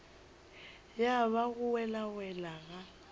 ya ba go welawela ga